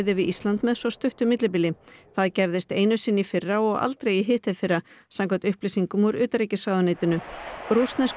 við Ísland með svo stuttu millibili það gerðist einu sinni í fyrra og aldrei í hitteðfyrra samkvæmt upplýsingum úr utanríkisráðuneytinu rússnesku